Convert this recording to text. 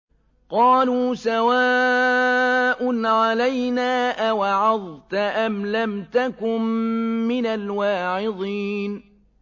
قَالُوا سَوَاءٌ عَلَيْنَا أَوَعَظْتَ أَمْ لَمْ تَكُن مِّنَ الْوَاعِظِينَ